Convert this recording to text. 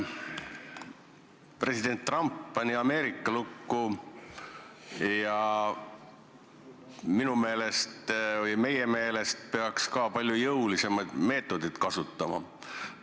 President Trump pani Ameerika lukku ja minu meelest – või meie meelest – peaks ka Eesti palju jõulisemaid meetodeid kasutama.